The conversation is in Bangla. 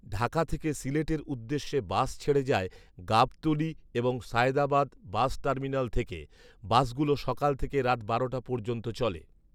ঢাকা থেকে সিলেট এর উদ্দেশ্যে বাস ছেড়ে যায় গাবতলী এবং সায়েদাবাদ বাস টার্মিনাল থেকে৷বাস গুলো সকাল থেকে রাত বারোটা পর্যন্ত চলে।